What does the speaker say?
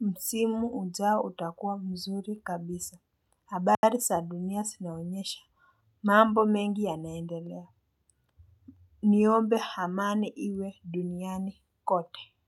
msimu ujao utakua mzuri kabisa. Habari za dunia zinaonyesha. Mambo mengi yanaendelea. Niombe amani iwe duniani kote.